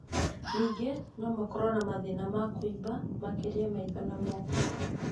Nyingĩ nomakorwo na mathĩna ma kũimba, makĩria maitho na moko